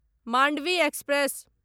Mandvi express